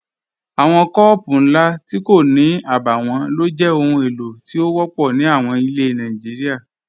Awọn kọọpụ̀ nlá tí kò ní àbáwọ̀n ló jẹ́ ọhun èlo tí o wọ̀pọ̀ ní àwọn ilẹ̀ Nàìjíríà.